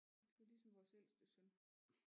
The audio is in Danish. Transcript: Det er ligesom vores ældste søn